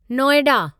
Noida